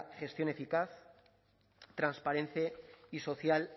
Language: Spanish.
gestión eficaz transparente y social